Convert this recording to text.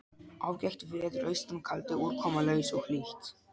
Ágætt veður austan kaldi úrkomulaus og hlýtt.